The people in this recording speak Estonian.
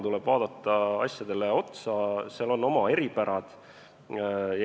Tuleb vaadata asjadele otsa, igal pool on oma eripärad.